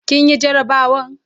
kin Yi garabawan?